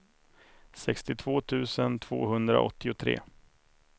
sextiotvå tusen tvåhundraåttiotre